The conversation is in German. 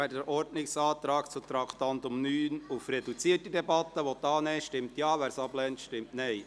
Wer den Ordnungsantrag zum Traktandum 9 auf reduzierte Debatte annehmen will, stimmt Ja, wer dies ablehnt, stimmt Nein.